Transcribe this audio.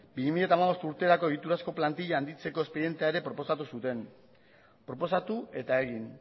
bi mila hamabost urterako egiturazko plantilla handitzeko espedientea ere proposatu zuten proposatu eta egin